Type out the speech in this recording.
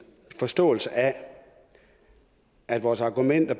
forståelse af vores argumenter